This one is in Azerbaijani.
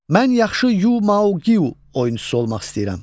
Mən yaxşı Yu Mao qiu oyunçusu olmaq istəyirəm.